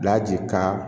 Bilaji ka